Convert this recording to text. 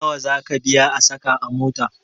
Nawa zaka biya a sa ka a mota?